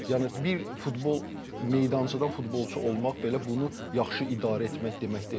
Yəni bir futbol meydançadan futbolçu olmaq belə bunu yaxşı idarə etmək demək deyil.